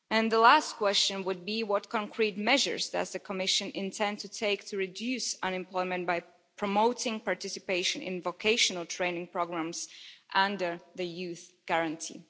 The last question would be what concrete measures does the Commission intend to take to reduce unemployment by promoting participation in vocational training programmes under the Youth Guarantee?